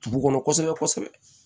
Dugu kɔnɔ kosɛbɛ kosɛbɛ